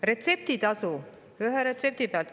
Retseptitasu ühe retsepti pealt.